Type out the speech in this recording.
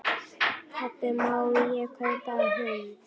Pabbi, má ég kaupa hund?